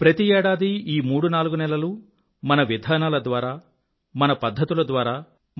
ప్రతి ఏడాదీ ఈ మూడు నాలుగు నెలలూ మన విధానాల ద్వారా మన పధ్ధతుల ద్వారా